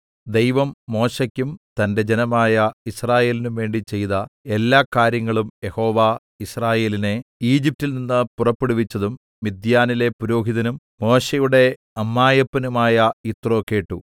ദൈവം മോശെയ്ക്കും തന്റെ ജനമായ യിസ്രായേലിനുംവേണ്ടി ചെയ്ത എല്ലാകാര്യങ്ങളും യഹോവ യിസ്രായേലിനെ ഈജിപ്റ്റിൽ നിന്ന് പുറപ്പെടുവിച്ചതും മിദ്യാനിലെ പുരോഹിതനും മോശെയുടെ അമ്മായപ്പനുമായ യിത്രോ കേട്ടു